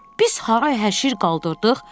Biz haray həşir qaldırdıq.